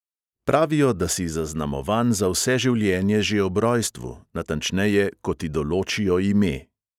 Pravijo, da si zaznamovan za vse življenje že ob rojstvu, natančneje, ko ti določijo ime.